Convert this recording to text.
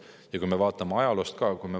Vaatame ajalugu ka.